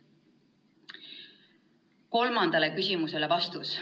Kolmandale küsimusele vastus.